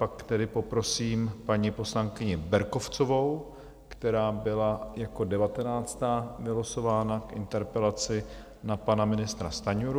Pak tedy poprosím paní poslankyni Berkovcovou, která byla jako devatenáctá vylosována k interpelaci na pana ministra Stanjuru.